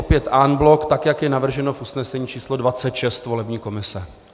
Opět en bloc, tak jak je navrženo v usnesení číslo 26 volební komise.